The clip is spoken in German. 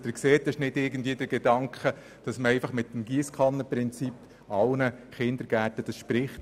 Es steht also nicht der Gedanke dahinter, dass man dies mit der Giesskanne allen Kindergärten finanzieren solle.